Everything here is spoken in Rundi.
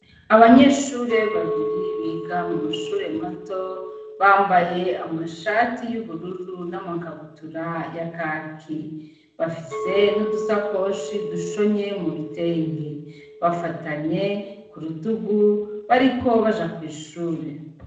abanyeshure babiri biga mu mashure mato bambaye amashati y'ubururu n'amakabutura ya kaki bafise n'udusakoshi dushonye mu bitenge bafatanye ku rutugu bariko baja kw'ishure.